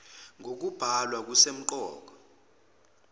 ng okubhalwa kusemqoka